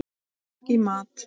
Ekki í mat.